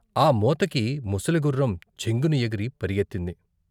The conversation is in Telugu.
ఆ మోతకి ముసలి గుర్రం చెంగున ఎగిరి పరుగెత్తింది.